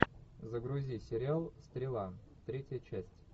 загрузи сериал стрела третья часть